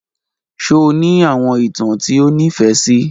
Ṣe o ni awọn itan ti o nifẹ si?